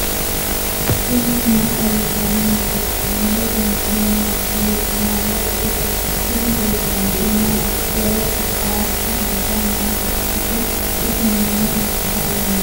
tini maa xawissanno misileeti ? mulese noori maati ? hiissinannite ise ? tini kultannori maati? Beetto qaaqu anga maa qodhite? ise maa asittanni nootte?